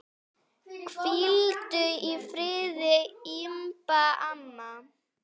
Hvíldu í friði, Imba amma.